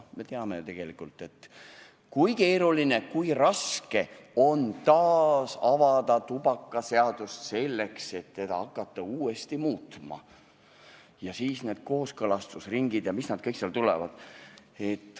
Me teame, kui keeruline, kui raske on taas avada tubakaseaduse menetlust, selleks et hakata seadust uuesti muutma, ja siis on need kooskõlastusringid ja mis nad kõik seal tulevad.